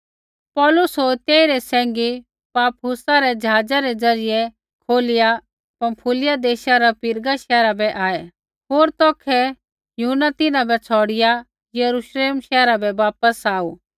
पौलुस होर तेइरै सैंघी पाफुसा रै ज़हाजा रै ज़रियै खोलिया पँफूलियै देशा रै पिरगा शैहरा बै आऐ होर तौखै यूहन्ना तिन्हां बै छ़ौड़िआ यरूश्लेम शैहरा बै वापस आऊ